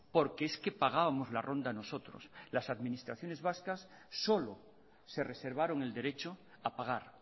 porque es que pagábamos la ronda nosotros las administraciones vascas solo se reservaron el derecho a pagar